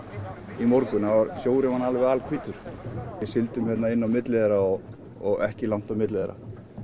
í morgun sjórinn var alveg alhvítur við sigldum hérna inn á milli þeirra og ekki langt á milli þeirra